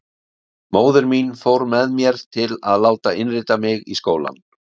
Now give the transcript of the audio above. Móðir mín fór með mér til að láta innrita mig í skólann.